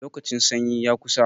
Lokacin sanyi ya kusa.